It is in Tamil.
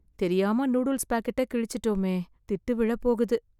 தெரியாம நூடுல்ஸ் பாக்கெட்டை கிழிச்சுட்டோமே திட்டு விழப்போகுது